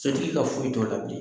Sotigi ka foyi t'o la bilen.